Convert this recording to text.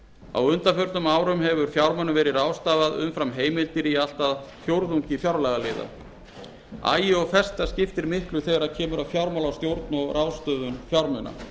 á undanförnum árum hefur fjármunum verið ráðstafað umfram heimildir á allt að fjórðungi fjárlagaliða agi og festa skiptir miklu þegar kemur að fjármálastjórn og ráðstöfun fjármuna